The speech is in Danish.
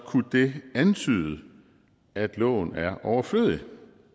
kunne det antyde at loven er overflødig